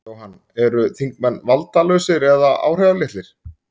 Jóhann: Eru þingmenn valdalausir eða áhrifalitlir?